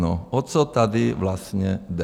No, o co tady vlastně jde?